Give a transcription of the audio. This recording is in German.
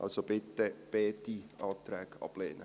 Also, bitte beide Anträge ablehnen.